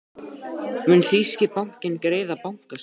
Mun þýski bankinn greiða bankaskatt?